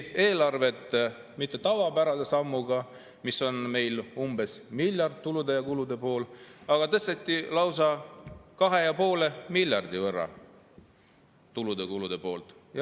Eelarvet ei tõstetud mitte tavapärase sammuga, mis on meil umbes miljard tulude ja kulude pool, vaid tõsteti lausa kahe ja poole miljardi võrra tulude ja kulude poolt.